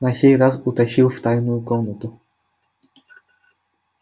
на сей раз утащил в тайную комнату